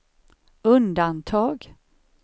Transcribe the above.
undantag